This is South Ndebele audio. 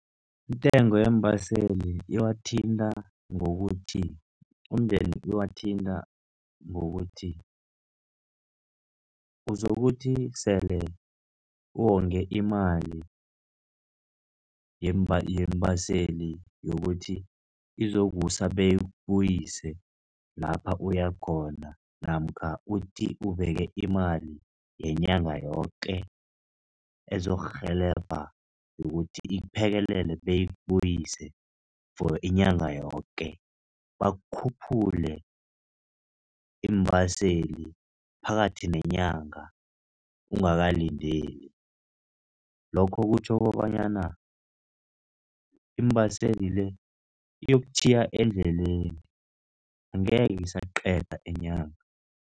Intengo yeembaseli iwathinta ngokuthi umndeni uwathinta ngokuthi, uzokuthi sele uwonge imali yeembaseli yokuthi izokusa beyikubuyise lapha uyakhona namkha uthi ubeke imali yenyanga yoke ezokurhelebha yokuthi ikuphekelele beyikubuyise for inyanga yoke bakhuphule iimbaseli phakathi neenyanga ungakalindeli, lokho kutjho kobanyana iimbaseli le iyokutjhiya endleleni, angeke isaqeda inyanga.